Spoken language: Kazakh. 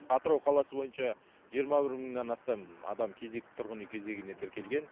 атырау қаласы бойынша жиырма бір мыңнан астам адам кезек тұрғын үй кезегіне тіркелген